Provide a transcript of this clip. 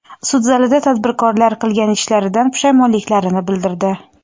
Sud zalida tadbirkorlar qilgan ishlaridan pushaymonliklarini bildirdi.